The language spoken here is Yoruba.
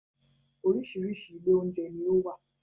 Oríṣiríṣi ilé oúnjẹ ní ó wà